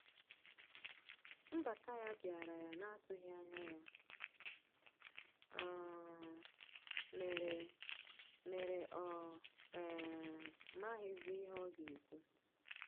Nbata ya biara ya na atughi anya ya um mere mere ọ um maghizi ihe ọga ekwụ.